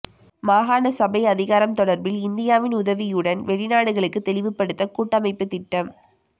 மாகாண சபை அதிகாரம் தொடர்பில் இந்தியாவின் உதவியுடன் வெளிநாடுகளுக்கு தெளிவுபடுத்த கூட்டமைப்பு திட்டம்